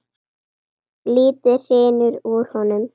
Lítið hrynur úr honum.